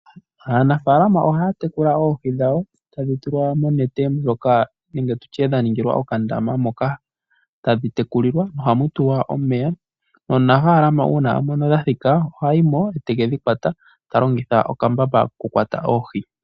Aanafaalama ohaya tekula oohi dhawo tadhi tulwa monete ndjoka nenge tutye dha ningilwa okandama moka tadhi tekulilwa. Ohamu tulwa omeya. Omunafaalama uuna a mono dha thika oha yimo te kedhi kwata, ta longitha okambamba koku kwata oohi.